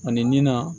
Ani nin na